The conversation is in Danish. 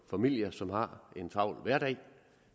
familier som har en travl hverdag